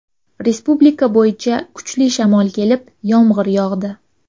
Respublika bo‘yicha kuchli shamol kelib , yomg‘ir yog‘di.